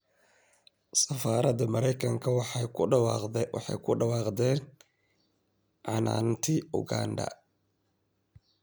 Safaaradda Mareykanka waxay ku dhawaaqdeen canaantii Uganda